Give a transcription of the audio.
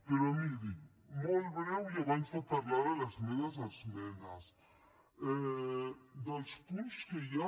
però miri molt breu i abans de parlar de les meves esmenes dels punts que hi ha